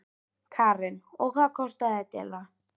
Karen: Og hvað kostaði þetta eiginlega?